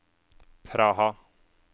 Praha